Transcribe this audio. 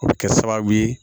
O bɛ kɛ sababu ye